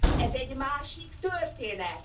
Ez egy másik történet.